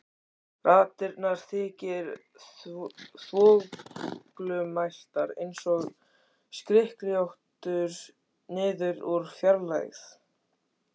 Raddirnar þykkar og þvoglumæltar einsog skrykkjóttur niður úr fjarlægð.